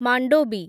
Mandovi